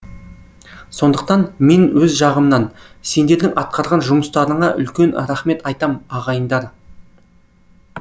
сондықтан мен өз жағымнан сендердің атқарған жұмыстарыңа үлкен рахмет айтам ағайындар